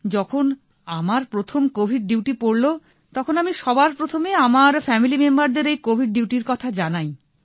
যখন আমার প্রথম কোভিড ডিউটি পড়ল তখন আমি সবার প্রথমে আমার ফ্যামিলি মেম্বারদের এই কোভিড ডিউটির কথা জানাই